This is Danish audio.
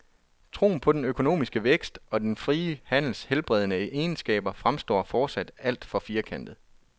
Troen på den økonomiske vækst og den frie handels helbredende egenskaber fremstår fortsat alt for firkantet.